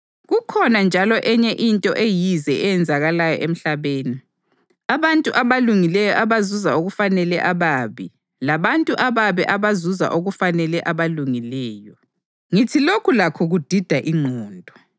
Kukhona njalo enye into eyize eyenzakalayo emhlabeni: abantu abalungileyo abazuza okufanele ababi, labantu ababi abazuza okufanele abalungileyo. Ngithi lokhu lakho kudida ingqondo.